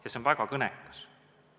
See on väga kõnekas.